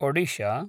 Odisha